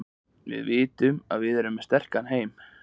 Við vitum að við erum sterkir heima.